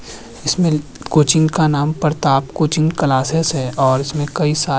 इसमें कोचिंग का नाम प्रताप कोचिंग क्लासिस है और इसमें कई सार --